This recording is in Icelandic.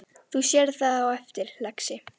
Þú sérð það á eftir, lagsi.